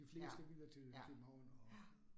Ja, ja, ja